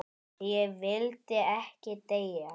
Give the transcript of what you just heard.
Ég vildi ekki deyja.